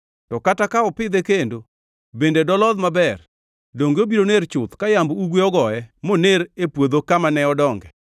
To kata ka opidhe kendo, bende dolodh maber? Donge obiro ner chuth ka yamb ugwe ogoye moner e puodho kamane odonge?’ ”